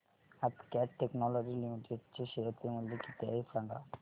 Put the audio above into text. आज Cat Technologies Limited चे share चे मूल्य किती आहे सांगा